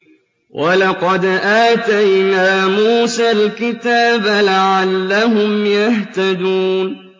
وَلَقَدْ آتَيْنَا مُوسَى الْكِتَابَ لَعَلَّهُمْ يَهْتَدُونَ